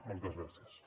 moltes gràcies